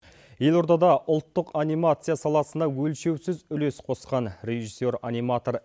елордада ұлттық анимация саласына өлшеусіз үлес қосқан режиссер аниматор